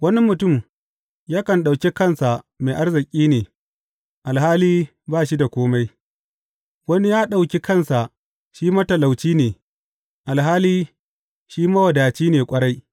Wani mutum yakan ɗauki kansa mai arziki ne, alhali ba shi da kome, wani ya ɗauki kansa shi matalauci ne, alhali shi mawadaci ne ƙwarai.